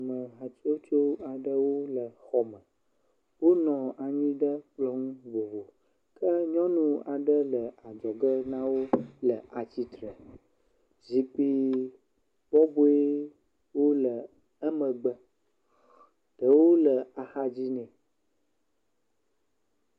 Ame hatsotso aɖe le xɔme. Wonɔ anyi ɖe kplɔ̃ ŋu vovo ke nyɔnu aɖe le adzɔge na wo le atsitre. Zikpui bɔbɔewo le emegbe. Ɖewo le axadzi ne.